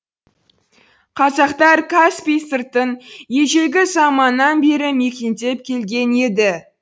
қазақтар каспий сыртын ежелгі заманнан бері мекендеп келген еді